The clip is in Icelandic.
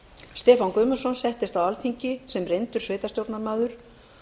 stefán guðmundsson settist á alþingi sem reyndur sveitarstjórnarmaður